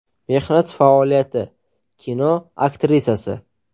Mehnat faoliyati: Kino aktrisasi.